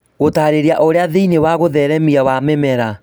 Gũtarĩria ũrĩa thiini wa ũtheremia wa mĩmera